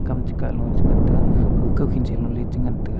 kam chekahlo chengan tega kawkhin cheloley chengan taiga.